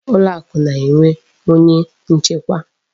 Ụlọakụ na-enwe onye nchekwa.